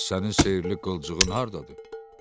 Bəs sənin sehirli qılıncığın hardadır?